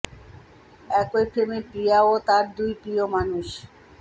একই ফ্রেমে প্রিয়া ও তাঁর দুই প্রিয় মানুষ